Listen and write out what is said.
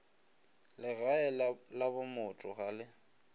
legae la bomotho ga le